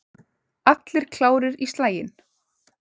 Allir klárir í slaginn?